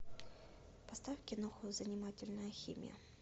поставь киноху занимательная химия